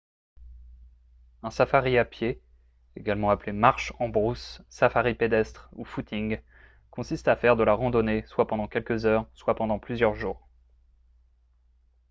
un safari à pied également appelé « marche en brousse »« safari pédestre » ou « footing » consiste à faire de la randonnée soit pendant quelques heures soit pendant plusieurs jours